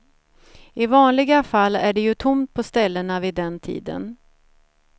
I vanliga fall är det ju tomt på ställena vid den tiden.